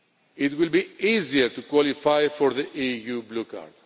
It will be easier to qualify for the EU Blue Card.